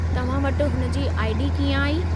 तव्हां वटि हुन जी आई.डी. कीअं आई?